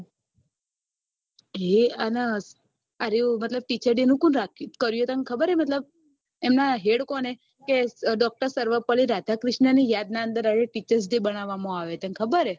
અને મતલબ teacher day કોને કર્યું તને ખબર હે મતલબ એમના head કોણ હે કે doctor સર્વ પલ્લી રાધાકૃષ્ણ ની યાદ ના અંદર રહેલ teacher's day બનાવવામાં આવે છે તન ખબર હે